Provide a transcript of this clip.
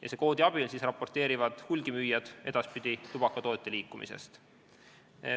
Selle koodi abil raporteerivad hulgimüüjad edaspidi tubakatoodete liikumisest.